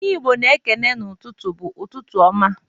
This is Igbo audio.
Ihe Igbo na-ekene n'ụtụtụ bụ, "Ụtụtụ ọma!".